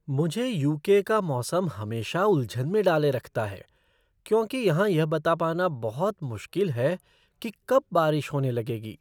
मुझे U. K. का मौसम हमेशा उलझन में डाले रखता है क्योंकि यहाँ यह बता पाना बहुत मुश्किल है कि कब बारिश होने लगेगी।